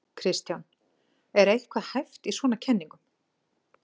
Kristján: Er eitthvað hæft í svona kenningum?